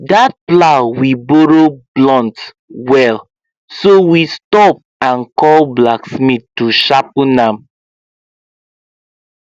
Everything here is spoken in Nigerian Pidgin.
that plow we borrow blunt well so we stop and call blacksmith to sharpen am